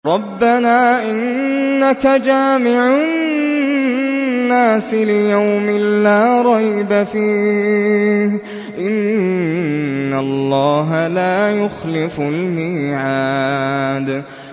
رَبَّنَا إِنَّكَ جَامِعُ النَّاسِ لِيَوْمٍ لَّا رَيْبَ فِيهِ ۚ إِنَّ اللَّهَ لَا يُخْلِفُ الْمِيعَادَ